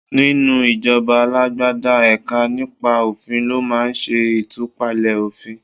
Nínú ìjọba alágbádá, ẹ̀ka nípa òfin ló máa ṣẹ ìtúpalẹ̀ òfìn.